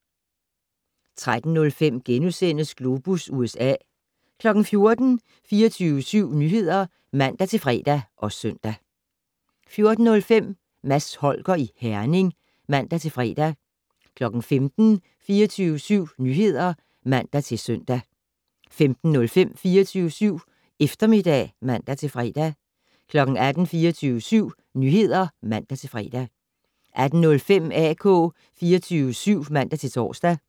13:05: Globus USA * 14:00: 24syv Nyheder (man-fre og søn) 14:05: Mads Holger i Herning (man-fre) 15:00: 24syv Nyheder (man-søn) 15:05: 24syv Eftermiddag (man-fre) 18:00: 24syv Nyheder (man-fre) 18:05: AK 24syv (man-tor) 20:00: